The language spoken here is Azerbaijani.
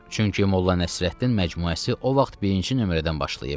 Çünki Molla Nəsrəddin məcmuəsi o vaxt birinci nömrədən başlayıb.